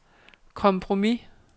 kompromis